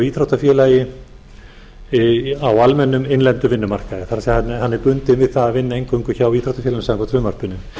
hjá íþróttafélagi á almennum innlendum vinnumarkaði það er hann er bundinn við það að vinna eingöngu hjá íþróttafélaginu samkvæmt frumvarpinu